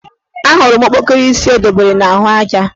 Ahụrụ m okpokoro isi o dobere n' ahụaja